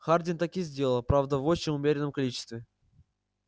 хардин так и сделал правда в очень умеренном количестве